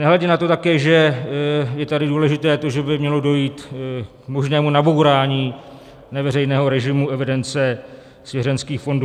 Nehledě na to také, že je tady důležité to, že by mělo dojít k možnému nabourání neveřejného režimu evidence svěřenských fondů.